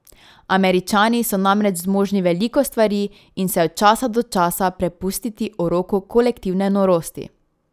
Američani so namreč zmožni veliko stvari in se od časa do časa prepustiti uroku kolektivne norosti.